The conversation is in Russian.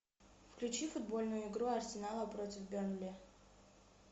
включи футбольную игру арсенала против бернли